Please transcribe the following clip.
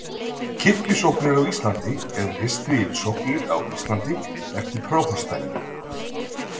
Kirkjusóknir á Íslandi er listi yfir sóknir á Íslandi eftir prófastsdæmum.